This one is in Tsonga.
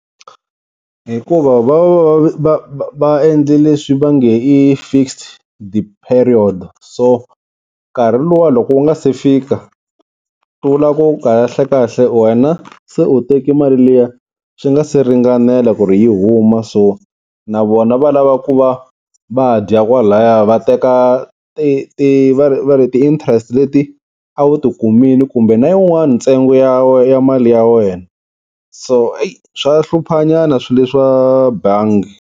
Hikuva va va va va endle leswi va nge i fixed period so nkarhi luwa loko wu nga se fika swi vula ku kahlekahle wena se u teki mali liya swi nga se ringanela ku ri yi huma, so na vona va lava ku va va dya kwalaya va teka ti ti va ri va ri ti-interest leti a wu ti kumile kumbe na yin'wani ntsengo ya ya mali ya wena so i swa hluphanyana swilo leswa bangi.